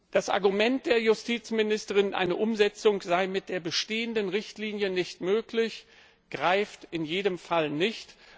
Das Argument der Justizministerin, eine Umsetzung sei mit der bestehenden Richtlinie nicht möglich, greift in jedem Fall nicht.